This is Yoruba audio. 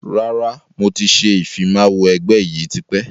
Rárá, mo ti ṣe ìfimawo ẹgbẹ́ yìí tipẹ́